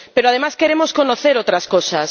Pero, además, queremos conocer otras cosas.